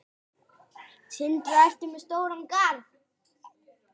Sindri: Ertu með stóran garð?